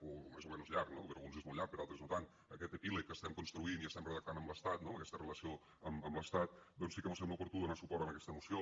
o més o menys llarg no per a alguns és molt llarg per a altres no tant aquest epíleg que estem construint i estem redactant amb l’estat no amb aquesta relació amb l’estat doncs sí que mos sembla oportú donar suport a aquesta moció